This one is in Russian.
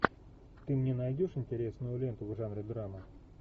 ты мне найдешь интересную ленту в жанре драма